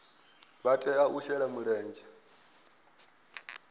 vha tea u shela mulenzhe